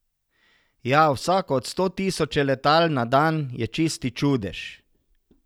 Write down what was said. Ja, vsako od sto tisoče letal na dan je čisti čudež ...